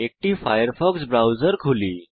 একটি Firefox browser খুলি